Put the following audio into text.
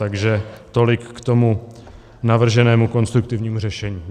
Takže tolik k tomu navrženému konstruktivnímu řešení.